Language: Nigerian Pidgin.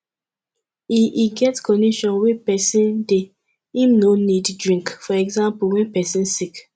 e e get condition wey person dey im no need drink for example when person sick